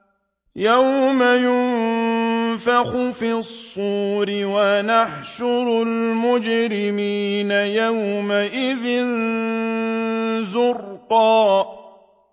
يَوْمَ يُنفَخُ فِي الصُّورِ ۚ وَنَحْشُرُ الْمُجْرِمِينَ يَوْمَئِذٍ زُرْقًا